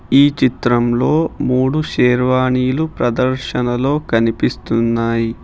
ఈ చిత్రంలో మూడు షేర్వానీలు ప్రదర్శనలో కనిపిస్తున్నాయి.